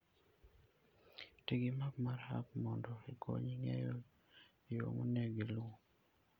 Ti gi map mar app mondo okonyi ng'eyo yo monego iluw.